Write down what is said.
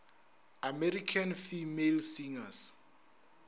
american female singers